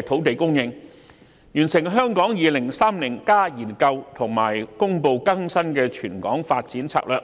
其他工作包括完成《香港 2030+》研究及公布經更新的全港發展策略、